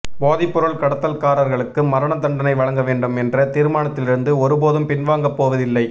போதைப்பொருள் கடத்தல்காரர்களுக்கு மரண தண்டனை வழங்க வேண்டும் என்ற தீர்மானத்திலிருந்து ஒருபோதும் பின்வாங்கப் போவதில்லை